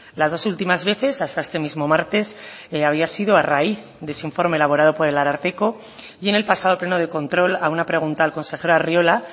las dos últimas veces hasta este mismo martes había sido a raíz de ese informe elaborado por el ararteko y en el pasado pleno de control a una pregunta al consejero arriola